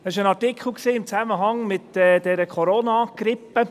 » Es war ein Artikel in Zusammenhang mit der Coronagrippe.